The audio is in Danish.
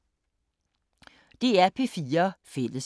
DR P4 Fælles